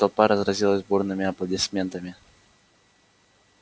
и толпа разразилась бурными аплодисментами